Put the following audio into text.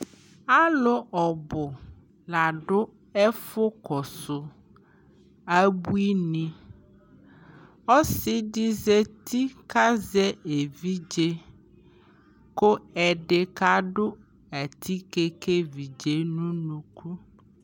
alʋ ɔbʋ ladʋ ɛƒʋ kɔsʋ abʋini, ɔsiidi zati ka azɛ ɛvidzɛ kʋ ɛdi kadʋ atikè ka ɛvidzɛ nʋ ʋnʋkʋ